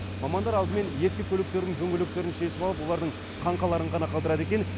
мамандар алдымен ескі көліктердің дөңгелектерін шешіп алып олардың қаңқаларын ғана қалдырады екен